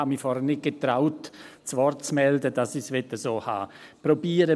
Ich getraute mich vorhin nicht, mich zu Wort zu melden, dass ich es so haben möchte.